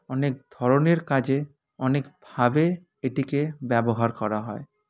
অনেক ধরনের কাজে অনেক ভাবে এটিকে ব্যবহার করা হয়